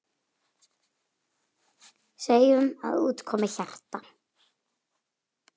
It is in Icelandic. Segjum að út komi hjarta.